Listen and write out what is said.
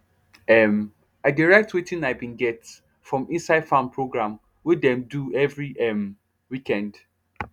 um i dey write wetin i bin get from inside farm program wey dem do everi um weekend